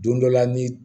Don dɔ la ni